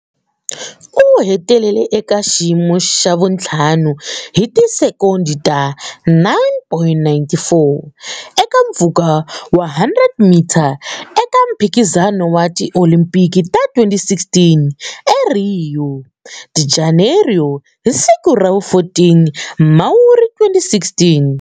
U hetelele eka xiyimo xa vu nthlanu hi ti sekondi ta 9.94 eka mpfhuka wa 100m eka mphikizano wa Ti-Olimpiki ta 2016, e Rio de Janeiro hi siku ra vu 14 Mhawuri 2016.